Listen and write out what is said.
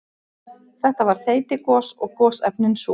Þetta var þeytigos og gosefnin súr.